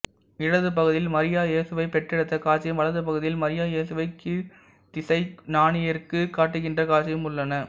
இடது பகுதியில் மரியா இயேசுவைப் பெற்றெடுத்த காட்சியும் வலது பகுதியில் மரியா இயேசுவைக் கீழ்த்திசை ஞானியருக்குக் காட்டுகின்ற காட்சியும் உள்ளன